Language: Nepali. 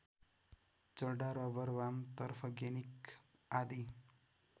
चड्डा रबर वाम तर्फगेनिक आदि